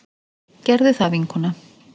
Gerðu það, vinkona!